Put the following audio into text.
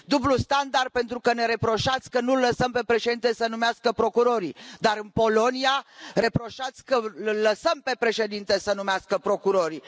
Dublu standard pentru că ne reproșați că nu îl lăsăm pe Președinte să numească procurorii, dar în Polonia reproșați că îl lăsăm pe Președinte să numească procurorii.